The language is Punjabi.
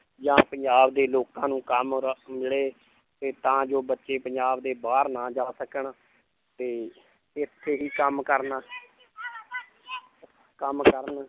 ਜਾਂ ਪੰਜਾਬ ਦੇ ਲੋਕਾਂ ਨੂੰ ਕੰਮ ਰ~ ਮਿਲੇ ਤੇ ਤਾਂ ਜੋ ਬੱਚੇ ਪੰਜਾਬ ਦੇ ਬਾਹਰ ਨਾ ਜਾ ਸਕਣ ਤੇ ਇੱਥੇ ਹੀ ਕੰਮ ਕਰਨਾ ਕੰਮ ਕਰਨ